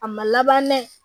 A ma laban dɛ